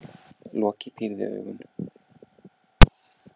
Loki pírði augun.